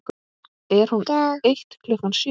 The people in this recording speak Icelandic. Er hún eitt klukkan sjö?